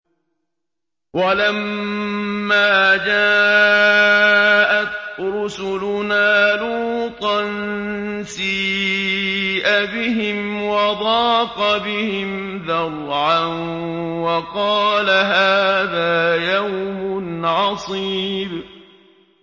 وَلَمَّا جَاءَتْ رُسُلُنَا لُوطًا سِيءَ بِهِمْ وَضَاقَ بِهِمْ ذَرْعًا وَقَالَ هَٰذَا يَوْمٌ عَصِيبٌ